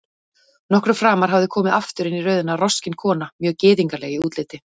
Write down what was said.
Nokkru framar hafði komið aftur inn í röðina roskin kona, mjög gyðingleg í útliti.